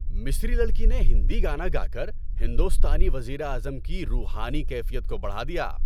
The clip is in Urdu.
مصری لڑکی نے ہندی گانا گا کر ہندوستانی وزیر اعظم کی روحانی کیفیت کو بڑھا دیا۔